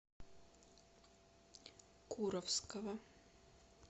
куровского